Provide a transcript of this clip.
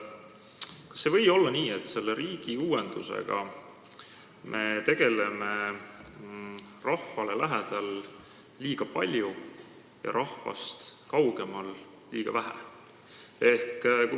Kas ei või olla nii, et selle riigiuuendusega me tegeleme rahvale lähedal liiga palju ja rahvast kaugemal liiga vähe?